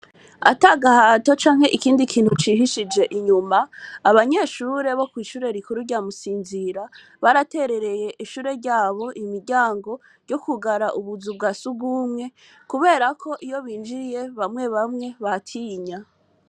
Ata gahato canke ikindi kintu cihishije inyuma abanyeshure bo kw'ishure rikuru ryamusinzira baraterereye ishure ryabo imiryango ryo kugara ubuzu bwa sugumwe, kubera ko iyo binjiye bamwe bamwe batinya.